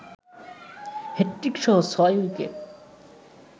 হ্যাটট্রিকসহ ৬ wicket